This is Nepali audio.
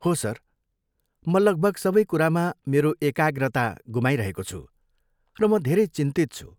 हो सर, म लगभग सबै कुरामा मेरो एकाग्रता गुमाइरहेको छु, र म धेरै चिन्तित छु।